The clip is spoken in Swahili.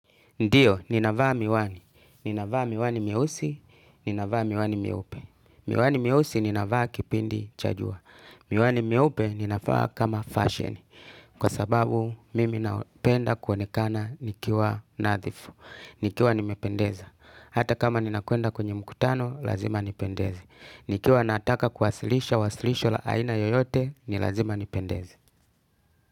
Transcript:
Ndio, ninavaa miwani. Ninavaa miwani myeusi, ninavaa miwani myeupe. Miwani myeusi ninavaa kipindi cha jua. Miwani myeupe ninavaa kama feshen. Kwa sababu mimi napenda kuonekana nikiwa nadhifu. Nikiwa nimependeza. Hata kama ninakwenda kwenye mkutano, lazima nipendeze. Nikiwa nataka kuwasilisha wasilisho la aina yoyote, ni lazima nipendeze.